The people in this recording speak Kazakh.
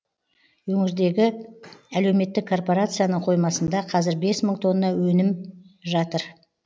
өнірдегі әлеуметтік корпорацияның қоймасында қазір бес мың тонна өнім жатыр